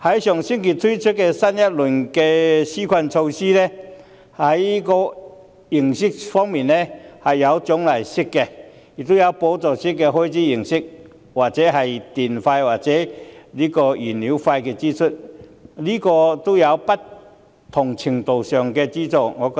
上星期推出的新一輪紓困措施，既有獎勵式，亦有補助開支的形式，例如補助電費、燃料費的支出，都是不同程度的資助。